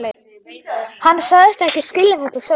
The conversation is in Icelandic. Hann sagðist ekki skilja þetta sjálfur.